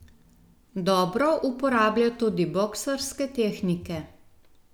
Dobro uporablja tudi boksarske tehnike.